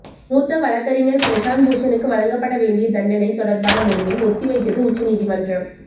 மூத்த வழக்கறிஞர் பிரசாந்த் பூஷனுக்கு வழங்கப்பட வேண்டிய தண்டனை தொடர்பான முடிவை ஒத்திவைத்தது உச்சநீதிமன்றம்